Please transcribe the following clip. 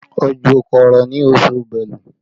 Òjò kò rọ̀ ní oṣù belú